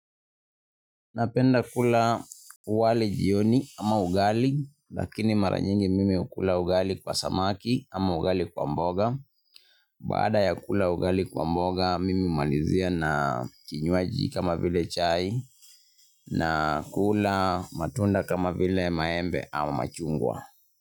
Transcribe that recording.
Napenda kula wali jioni ama ugali lakini mara nyingi mimi hukula ugali kwa samaki ama ugali kwa mboga. Baada ya kukula ugali kwa mboga mimi humalizia na kinywaji kama vile chai nakula matunda kama vile maembe ama machungwa.